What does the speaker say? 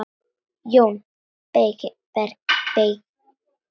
JÓN BEYKIR: Skýrt svar!